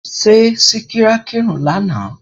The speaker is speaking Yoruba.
Ṣé Síkírá kírun ní àná?